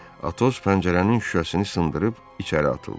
Atos pəncərənin şüşəsini sındırıb içəri atıldı.